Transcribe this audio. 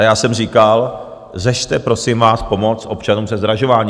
A já jsem říkal, řešte, prosím vás, pomoc občanům se zdražováním.